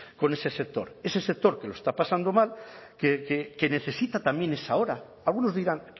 con ese sector ese sector que lo está pasando mal que necesita también esa hora algunos dirán